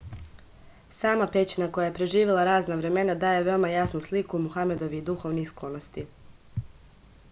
sama pećina koja je preživela razna vremena daje veoma jasnu sliku muhamedovih duhovnih sklonosti